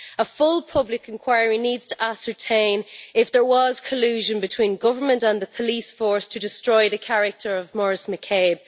A full public inquiry needs to ascertain whether there was collusion between government and the police force to destroy the character of Maurice McCabe.